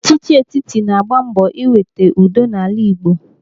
Ọchịchị etiti na-agba mbọ iweta udo n'ala Igbo.